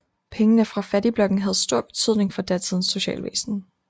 Pengene fra fattigblokken havde stor betydning for datidens socialvæsen